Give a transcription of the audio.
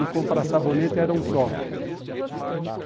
E comprar sabonete era um só.